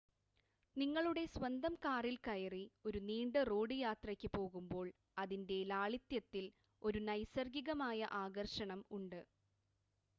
നിങ്ങളുടെ സ്വന്തം കാറിൽ കയറി ഒരു നീണ്ട റോഡ് യാത്രയ്ക്ക് പോകുമ്പോൾ അതിൻ്റെ ലാളിത്യത്തിൽ ഒരു നൈസർഗികമായ ആകർഷണം ഉണ്ട്